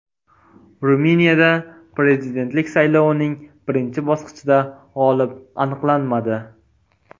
Ruminiyada prezidentlik saylovining birinchi bosqichida g‘olib aniqlanmadi.